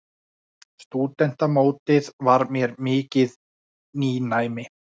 Stúdentamótið var mér mikið nýnæmi.